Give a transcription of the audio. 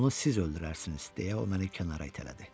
Onu siz öldürərsiniz, deyə o məni kənara itələdi.